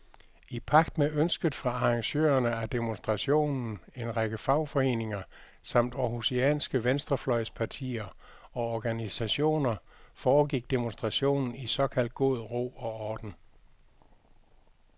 I pagt med ønsket fra arrangørerne af demonstrationen, en række fagforeninger samt århusianske venstrefløjspartier og organisationer, foregik demonstrationen i såkaldt god ro og orden.